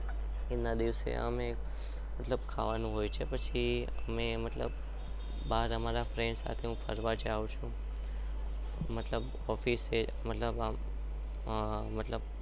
એના દિવસે અમે ખાવાનું હોય છે મતલબ